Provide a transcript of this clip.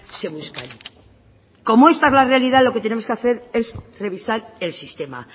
se buscan como esta es la realidad lo que tenemos que hacer es revisar el sistema